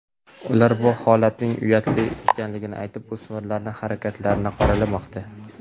Ular bu holatning uyatli ekanligini aytib, o‘smirlarning harakatlarini qoralamoqda.